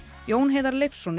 Jón Heiðar Leifsson